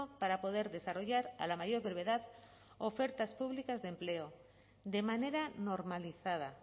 para poder desarrollar a la mayor brevedad ofertas públicas de empleo de manera normalizada